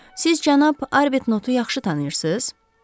Siz cənab Arbitnotu yaxşı tanıyırsız?